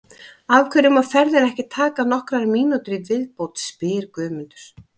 Af hverju má ferðin ekki taka nokkrar mínútur í viðbót? spyr Guðmundur.